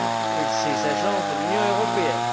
et de ces agences de l'Union européenne.